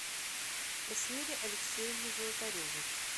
эсмире алексеевне золотаревой